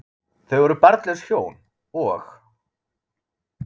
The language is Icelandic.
Þau voru barnlaus hjón, og